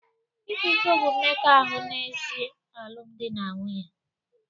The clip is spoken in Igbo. Ịkwa iko bụ mmekọahụ n'èzí alụmdi na nwunye